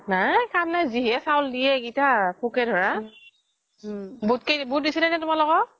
নাই কাম নাই যিহে চাউল দিয়ে এইকিতা পোকে ধৰা বোত দিছিলে নে তুমালোকক